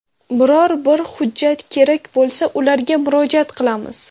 Biror bir hujjat kerak bo‘lsa, ularga murojaat qilamiz.